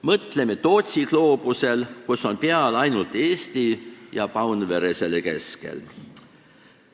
Mõtleme Tootsi gloobusele, kus on peal ainult Eesti ja Paunvere selle keskel.